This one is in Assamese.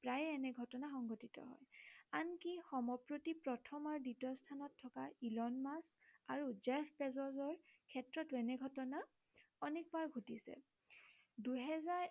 প্ৰায়ে এনে ঘটনা সংঘটিত হয়। আনকি সমপ্ৰতি প্ৰথম আৰু দ্বিতীয় স্থানত থকা ইলন মাস্ক আৰু জেষ্ট তেজবৰ ক্ষেত্ৰটো এনে ঘটনা অনেকবাৰ ঘটিছে দুহেজাৰ